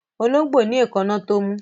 Ológbò ní èkáná tó mú